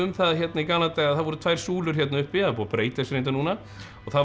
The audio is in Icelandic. í gamla daga að það voru tvær súlur uppi búið að breyta þessu reyndar núna og það var